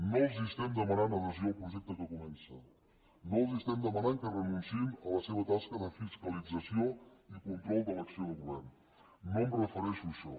no els estem demanant adhesió al projecte que comença no els estem demanant que renunciïn a la seva tasca de fiscalització i control de l’acció de govern no em refereixo a això